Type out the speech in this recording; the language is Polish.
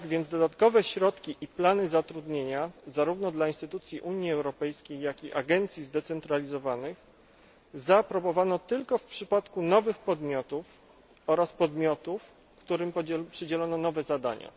Dodatkowe środki i plany zatrudnienia, zarówno dla instytucji Unii Europejskiej, jak i agencji zdecentralizowanych zaaprobowano tylko w przypadku nowych podmiotów oraz podmiotów, którym przydzielono nowe zadania.